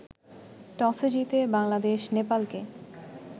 টসে জিতে বাংলাদেশ নেপালকে